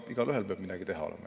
Igaühel peab midagi teha olema.